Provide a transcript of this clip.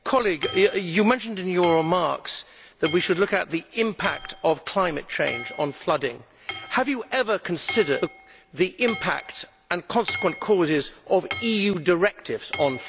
You mentioned in your remarks that we should look at the impact of climate change on flooding. Have you ever considered the impact and consequent causes of EU directives on flooding?